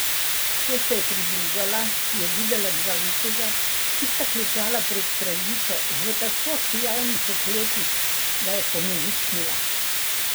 Ko se je približala, je videla dva viteza, ki sta klečala pred kraljico, v tako sijajnih oklepih, da je pomežiknila.